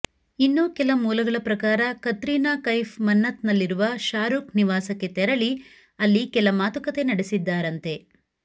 ಇನ್ನೂ ಕೆಲ ಮೂಲಗಳ ಪ್ರಕಾರ ಕತ್ರೀನಾ ಕೈಫ್ ಮನ್ನತ್ನಲ್ಲಿರುವ ಶಾರೂಖ್ ನಿವಾಸಕ್ಕೆ ತೆರಳಿ ಅಲ್ಲಿ ಕೆಲ ಮಾತುಕತೆ ನಡೆಸಿದ್ದಾರಂತೆ